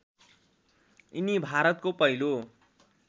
यिनी भारतको पहिलो